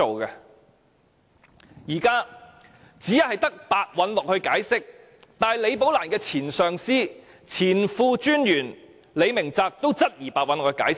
現時只有白韞六作出解釋，但連李寶蘭的前上司也質疑白韞六的解釋。